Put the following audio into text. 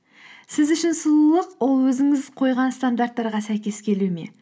сіз үшін сұлулық ол өзіңіз қойған стандарттарға сәйкес келу ме